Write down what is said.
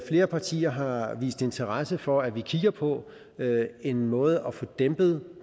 flere partier har vist interesse for at kigge på en måde at få dæmpet